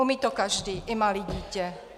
Umí to každý, i malé dítě.